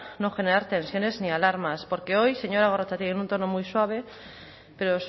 no generar tensiones ni alarmas porque hoy señora gorrotxategi en un tono muy suave pero